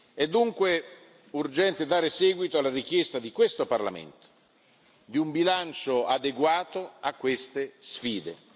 È dunque urgente dare seguito alla richiesta di questo Parlamento di un bilancio adeguato a queste sfide.